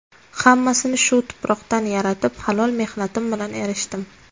Hammasini shu tuproqdan yaratib, halol mehnatim bilan erishdim.